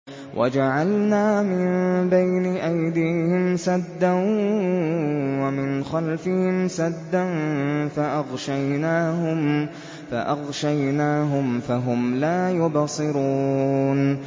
وَجَعَلْنَا مِن بَيْنِ أَيْدِيهِمْ سَدًّا وَمِنْ خَلْفِهِمْ سَدًّا فَأَغْشَيْنَاهُمْ فَهُمْ لَا يُبْصِرُونَ